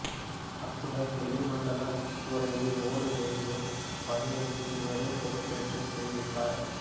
அத்துடன் வெளி மண்டப கூரைக்கு ஓடு வேயும் பணியையும் இவரே பொறுப்பேற்று செய்வித்தார்